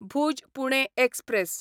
Bhuj Pune express